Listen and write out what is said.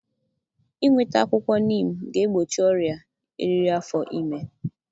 Inweta akwụkwọ neem ga-egbochi ọrịa eriri afọ ime.